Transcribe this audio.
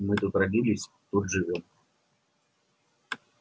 мы тут родились тут живём